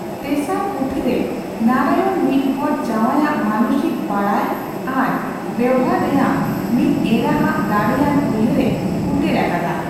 ᱛᱮᱥᱟᱨ ᱯᱩᱸᱛᱷᱤᱨᱮ ᱱᱟᱨᱟᱭᱚᱱ ᱢᱤᱫᱦᱚᱲ ᱡᱟᱸᱣᱟᱭ ᱟᱜ ᱢᱟᱱᱚᱥᱤᱠ ᱵᱟᱰᱟᱭ ᱟᱨ ᱵᱮᱣᱦᱟᱨ ᱨᱮᱭᱟᱜ ᱢᱤᱫ ᱮᱨᱟ ᱟᱜ ᱫᱟᱲᱮᱭᱟᱱ ᱩᱭᱦᱟᱹᱨ ᱮ ᱯᱷᱩᱴᱮᱞ ᱟᱠᱟᱫᱟ ᱾